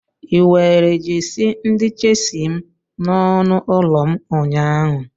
Ị were jesi ndi chelsi m n'ọnụ ụlọ m ụnyaahụ?